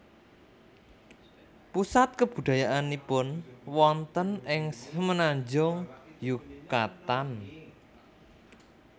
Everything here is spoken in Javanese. Pusat kabudayaannipun wonten ing Semenanjung Yukatan